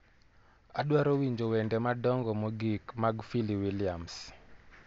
Adwaro winjo wende madongo mogik mag fili williams